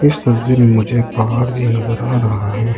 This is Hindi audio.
इस तस्वीर में मुझे एक पहाड़ भी नजर आ रहा है।